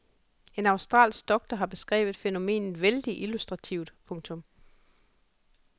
En australsk doktor har beskrevet fænomenet vældigt illustrativt. punktum